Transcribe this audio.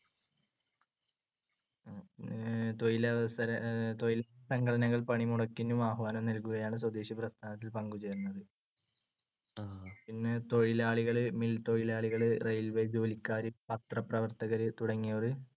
അഹ് തൊഴിലവസര~ തൊഴിൽസംഘടനകൾ പണിമുടക്കിന് ആഹ്വാനം നൽകുകയാണ് സ്വദേശിപ്രസ്ഥാനത്തിൽ പങ്കുചേരുന്നത്. പിന്നെ തൊഴിലാളികൾ, mill തൊഴിലാളികൾ, railway ജോലിക്കാർ പത്രപ്രവർത്തകർ തുടങ്ങിയവര്